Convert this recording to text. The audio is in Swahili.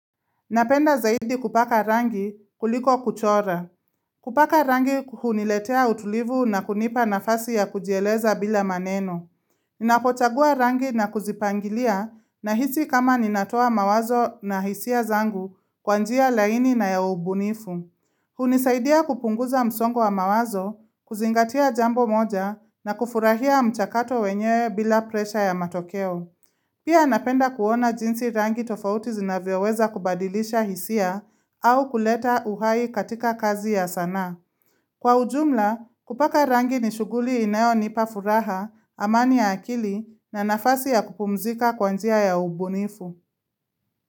Napenda zaidi kupaka rangi kuliko kuchora. Kupaka rangi kuhuniletea utulivu na kunipa nafasi ya kujieleza bila maneno. Ninapochagua rangi na kuzipangilia nahisi kama ninatoa mawazo na hisia zangu kwa njia laini na ya ubunifu. Hunisaidia kupunguza msongo wa mawazo, kuzingatia jambo moja na kufurahia mchakato wenyewe bila presha ya matokeo. Pia napenda kuona jinsi rangi tofauti zinavyoweza kubadilisha hisia au kuleta uhai katika kazi ya sanaa. Kwa ujumla, kupaka rangi ni shughuli inayo nipa furaha, amani ya akili na nafasi ya kupumzika kwa njia ya ubunifu.